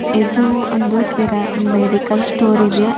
ಇದು ಒಂದು ಕಿರಾ ಮೆಡಿಕಲ್ ಸ್ಟೋರ್ ಇದೆ